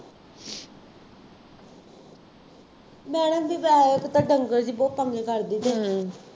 madam ਵੀ ਵੈਸੇ ਤਾਂ ਡੰਗਰ ਜਿਹੀ ਬਹੁਤ ਤੰਗ ਹੀ ਕਰਦੀ ਸੀ